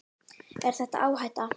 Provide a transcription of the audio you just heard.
Er þetta áhætta?